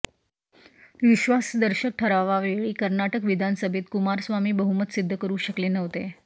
विश्वासदर्शक ठरावावेळी कर्नाटक विधानसभेत कुमारस्वामी बहुमत सिद्ध करू शकले नव्हते